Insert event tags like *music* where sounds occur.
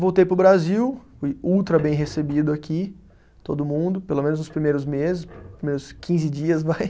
Voltei para o Brasil, fui ultra bem recebido aqui, todo mundo, pelo menos nos primeiros meses, nos primeiros quinze dias, vai. *laughs*